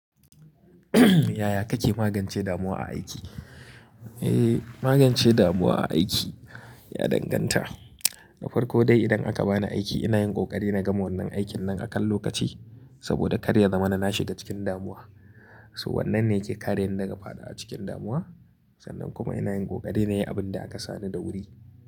Yaya kake magance damuwa a aiki? Eh, magance damuwa a aiki, ya danganta. Da farko dai idan aka bani aiki ina yin ƙoƙari na gama wannan aikin nan akan lokaci saboda karya zama na nashi ga cikin damuwa. So wannan ne yake kare ni daga faɗawa cikin damuwa sannan kuma ina yin ƙoƙari na yi abin da aka sani da wuri.